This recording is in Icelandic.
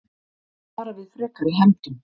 Vara við frekari hefndum